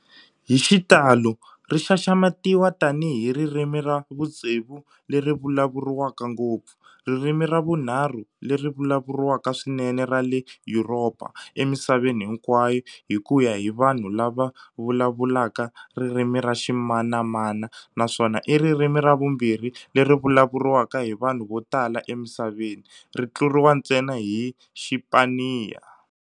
Hi xitalo ri xaxametiwa tanihi ririmi ra vutsevu leri vulavuriwaka ngopfu, ririmi ra vunharhu leri vulavuriwaka swinene ra le Yuropa emisaveni hinkwayo hi ku ya hi vanhu lava vulavulaka ririmi ra ximanana naswona i ririmi ra vumbirhi leri vulavuriwaka hi vanhu vo tala emisaveni, ri tluriwa ntsena hi Xipaniya.